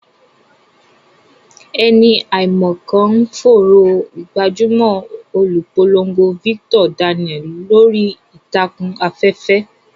Ẹni àìmọ̀ kan ń fòòró gbajúmọ̀ olùpolongo Victor Daniel lórí ìtàkùn afẹ́fẹ́.